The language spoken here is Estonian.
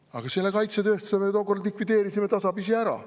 Aga selle kaitsetööstuse me tookord likvideerisime tasapisi ära.